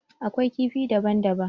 Akwai kifi daban daban.